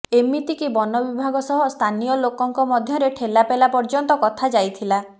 ଏମିତିକି ବନବିଭାଗ ସହ ସ୍ଥାନୀୟ ଲୋକଙ୍କ ମଧ୍ୟରେ ଠେଲାପେଲା ପର୍ଯ୍ୟନ୍ତ କଥାଯାଇଥିଲା